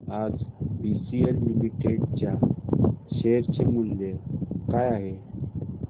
आज BCL limited च्या share चे मूल्य काय आहे